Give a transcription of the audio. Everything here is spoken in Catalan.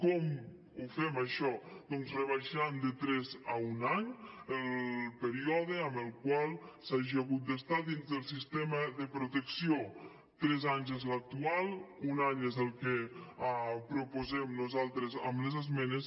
com ho fem això doncs rebaixant de tres a un any el període en el qual s’hagi hagut d’estar dins del sistema de protecció tres anys és l’actual un any és el que proposem nosaltres amb les esmenes